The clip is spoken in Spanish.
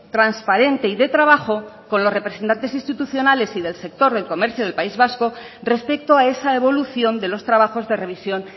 transparente y de trabajo con los representantes institucionales y del sector del comercio del país vasco respecto a esa evolución de los trabajos de revisión